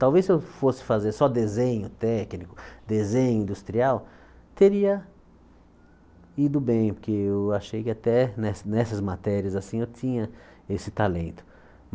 Talvez se eu fosse fazer só desenho técnico, desenho industrial, teria ido bem, porque eu achei que até ne nessas matérias, assim, eu tinha esse talento.